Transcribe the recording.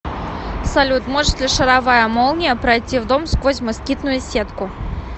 салют может ли шаровая молния пройти в дом сквозь москитную сетку